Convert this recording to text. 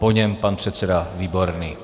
Po něm pan předseda Výborný.